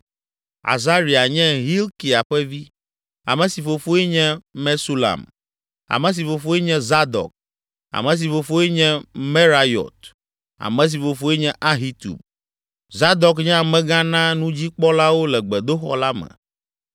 Azaria nye Hilkia ƒe vi, ame si fofoe nye Mesulam, ame si fofoe nye Zadok, ame si fofoe nye Merayot, ame si fofoe nye Ahitub. Zadok nye amegã na nudzikpɔlawo le gbedoxɔ la me.